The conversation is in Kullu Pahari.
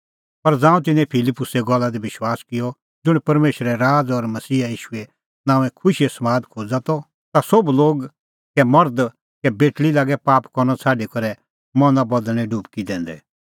पर ज़ांऊं तिन्नैं फिलिप्पुसे गल्ला दी विश्वास किअ ज़ुंण परमेशरे राज़ और मसीहा ईशूए नांओं खुशीओ समाद खोज़ा त ता सोभ लोग कै मर्ध कै बेटल़ी लागै पाप करनअ छ़ाडी करै मना बदल़णें डुबकी लंदै